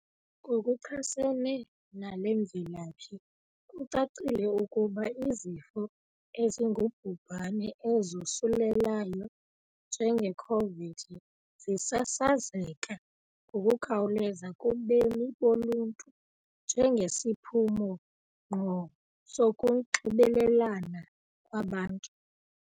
Ngokuchasene nale mvelaphi kucacile ukuba izifo ezingubhubhane ezosulelayo njenge Khovidi zisasazeka ngokukhawuleza kubemi boluntu njengesiphumo ngqo sokunxibelelana kwabantu.